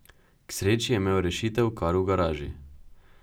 K sreči je imel rešitev kar v garaži.